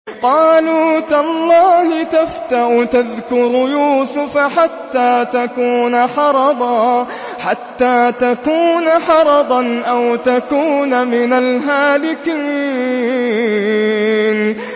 قَالُوا تَاللَّهِ تَفْتَأُ تَذْكُرُ يُوسُفَ حَتَّىٰ تَكُونَ حَرَضًا أَوْ تَكُونَ مِنَ الْهَالِكِينَ